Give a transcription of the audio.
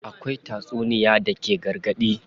Akwai tatsuniya da take gargaɗi.